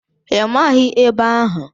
Ị maghị ebe ahụ?